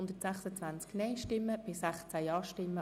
2018 / AFP 2019–2021 Alberucci, Ostermundigen [glp] – Nr. 3)